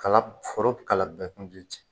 Kala foro kala bɛɛ kun ten cɛ.